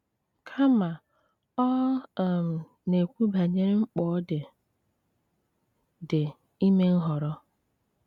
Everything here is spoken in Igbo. Kama, ọ um na-ekwu banyere mkpa ọ dị dị ime nhọrọ.